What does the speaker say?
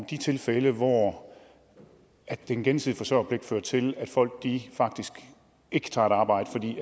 de tilfælde hvor den gensidige forsørgerpligt fører til at folk faktisk ikke tager et arbejde fordi